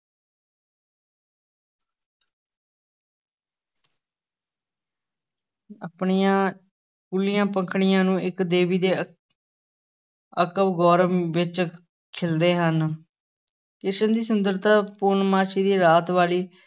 ਆਪਣੀਆਂ ਕੂਲੀਆਂ ਪੰਖੜੀਆਂ ਨੂੰ ਇਕ ਦੇਵੀ ਦੇ ਅ~ ਗੌਰਵ ਵਿਚ ਖਿੱਲਦੇ ਹਨ, ਕ੍ਰਿਸ਼ਨ ਦੀ ਸੁੰਦਰਤਾ ਪੂਰਨਮਾਸ਼ੀ ਦੀ ਰਾਤ ਵਾਲੀ